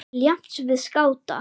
til jafns við skáta.